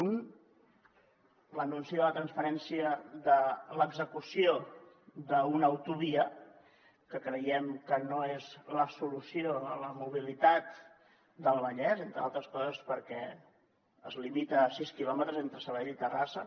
un l’anunci de la transferència de l’execució d’una autovia que creiem que no és la solució a la mobilitat del vallès entre altres coses perquè es limita a sis quilòmetres entre sabadell i terrassa